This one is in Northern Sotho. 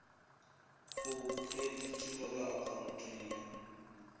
go kreditiwa ka akhaontong ya